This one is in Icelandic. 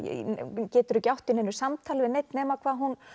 hún getur ekki átt í neinu samtali við neinn nema hvað hún